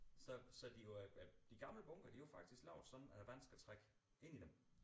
Så så de var de gamle bunkere de var jo faktisk lavet sådan at vandet skal trænge ind i dem